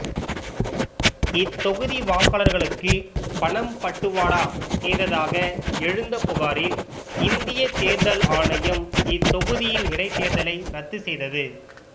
இத்தொகுதி வாக்காளர்களுக்கு பணம் பட்டுவடா செய்ததாக எழுந்த புகாரில் இந்தியத் தேர்தல் ஆணையம் இத்தொகுதியின் இடைத்தேர்தலை ரத்து செய்தது